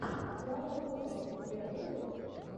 клава кока у тебя будет